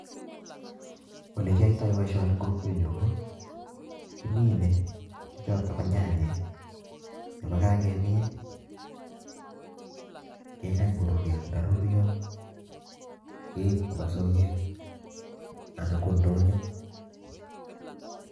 Olekiyoito boishoni en kwokwenyun kimine nyanyik, ak yekakimin kekany koruryo ,ye ruryoo keib koba socket anan ko ndonyoo